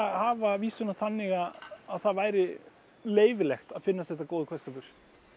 hafa vísuna þannig að það væri leyfilegt að finnast þetta góður kveðskapur